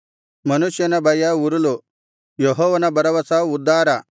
ಮನುಷ್ಯನ ಭಯ ಉರುಲು ಯೆಹೋವನ ಭರವಸ ಉದ್ಧಾರ